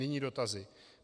Nyní dotazy.